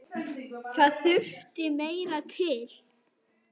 Það þurfti meira til.